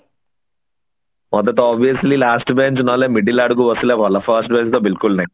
ମତେ ତ last bench ନହେଲ middle ଆଡକୁ ବସିଲେ ଭଲ first bench ତ ବିଲକୁଲ ନାଇଁ